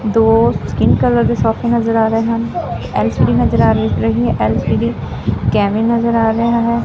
ਦੋ skin colour ਦੇ ਸੌਫੇ ਨਜ਼ਰ ਆ ਰਹੇ ਹਨ ਐਲ_ਸੀ_ਡੀ ਨਜ਼ਰ ਆ ਰਈ ਰਹੀ ਐ ਐਲ_ਸੀ_ਡੀ ਕੈਮਰੇ ਨਜ਼ਰ ਆ ਰਿਹਾ ਹੈ।